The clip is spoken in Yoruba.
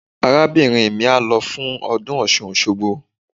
Arábìnrin mi á lọ fún ọdún Ọ̀ṣun Òṣogbo.